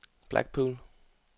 Blackpool